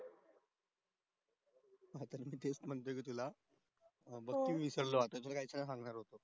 तेच म्हणतो मी तुला मी च विसरलो आता काही तरी सांगणार होतो